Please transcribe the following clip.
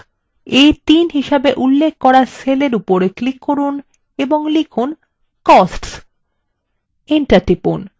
a3 হিসেবে উল্লেখ করা cell উপর click করুন এবং লিখুন costs